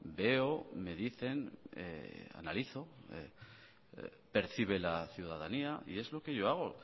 veo me dicen analizo percibe la ciudadanía y es lo que yo hago